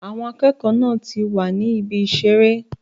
Àwọn akẹ́kọ̀ọ́ náà wà ní ibi ìṣeré.